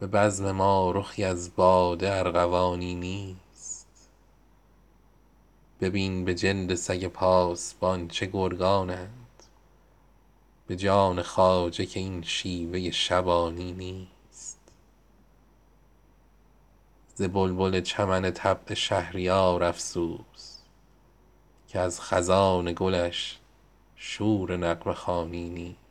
به بزم ما رخی از باده ارغوانی نیست ببین به جلد سگ پاسبان چه گرگانند به جان خواجه که این شیوه شبانی نیست ز بلبل چمن طبع شهریار افسوس که از خزان گلش شور نغمه خوانی نیست